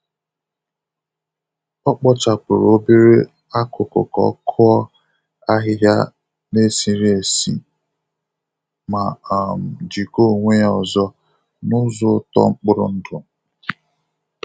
O kpochapụrụ obere akuku ka o kụọ ahịhịa na-esiri esi ma um jikọọ onwe ya ọzọ na ụzọ uto mkpụrụ ndụ.